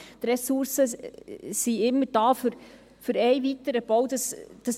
Die Ressourcen sind immer da für einen weiteren Bau.